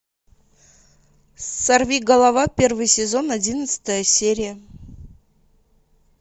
сорвиголова первый сезон одиннадцатая серия